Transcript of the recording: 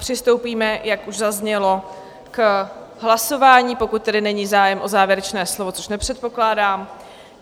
Přistoupíme, jak už zaznělo, k hlasování, pokud tedy není zájem o závěrečné slovo, což nepředpokládám.